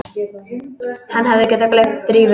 Hann hefði getað gleymt Drífu.